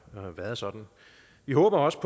været sådan vi håber også